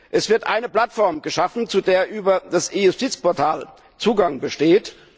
Es wird eine Plattform geschaffen, zu der über das E Justiz Portal Zugang besteht.